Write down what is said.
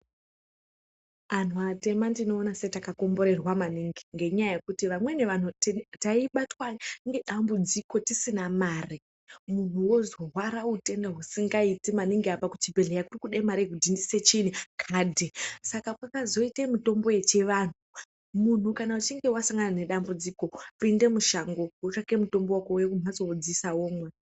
Anhu atema ndinoona setakakomborerwa maningi ngenyaya yekuti vamweni vanhu taibatwa ngedambudziko tisina mare munhu worwara utenda husingaiti maningi apa kuchibhedhlera kurikuda mare yekudhindise chiinyi kadhi saka pakazoite mitombo yechivanhu muntu kana uchinge wasangana nedambudziko pinde mushango wotsvake mutombo wako wodziisa womwa.